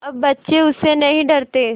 अब बच्चे उससे नहीं डरते